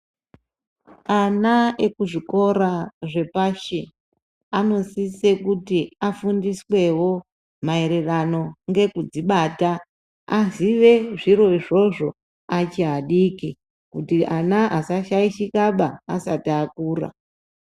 Ana ekuzvikora zvepashi, anosise kuti afundiswewo maererano ngekudzibata, azive zviro izvozvo achiadiki, kuti ana asashaishikaba asati akura .